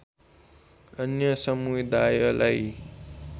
अन्य समुदायलाई